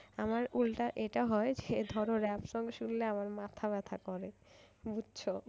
আমার উল্টা এটা হয় যে ধর ওর rap song শুনলে আমার মাথা ব্যথা করে বুঝছো?